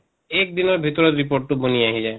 এক দিনৰ ভিতৰত report টো বনি আহি যায়।